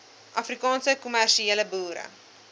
afrikaanse kommersiële boere